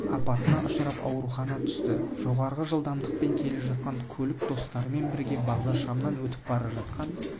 апатына ұшырап аурухана түсті жоғары жылдамдықпен келе жатқан көлік достарымен бірге бағдаршамнан өтіп бара жатқан